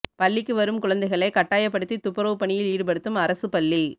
பள்ளிக்கு வரும் குழந்தைகளை கட்டாயப்படுத்தி துப்புரவு பணியில் ஈடுப்படுத்தும் அரசு பள்ளி